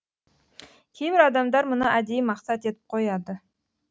кейбір адамдар мұны әдейі мақсат етіп қояды